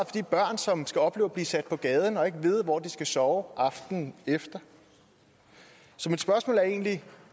de børn som skal opleve at blive sat på gaden og ikke vide hvor de skal sove aftenen efter så mit spørgsmål er egentlig